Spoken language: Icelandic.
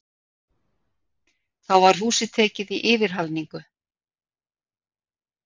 Þá var húsið tekið í yfirhalningu.